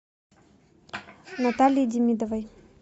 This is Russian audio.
наталье демидовой